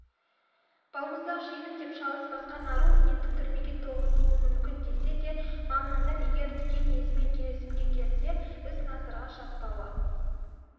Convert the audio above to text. балмұздақ жеймін деп шалыс басқан ару енді түрмеге тоғытылуы мүмкін десе де мамандар егер дүкен иесімен келісімге келсе іс насырға шаппауы